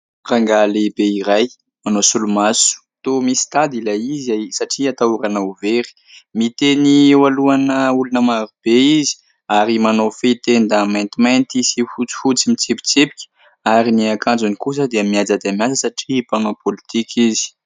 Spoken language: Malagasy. Rangahy lehibe iray manao solomaso, toa misy tady ilay izy satria atahorana ho very, miteny eo alohana olona maro be izy ary manao fehi-tenda maintimainty sy fotsifotsy mitsipitsipika ary ny akanjony kosa dia mihaja dia mihaja satria mpanao pôlitika izy.